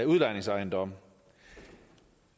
udlejningsejendomme